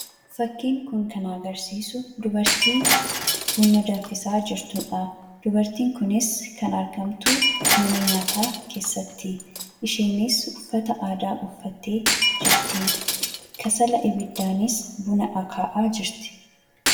Fakkiin kun kan agarsiisu dubartii kasala abiddaa buna danfisaa jirtudha. Dubartiin kunis kan argamtu mana nyaataa keessattidha. Isheenis uffata aadaa uffattee argamti.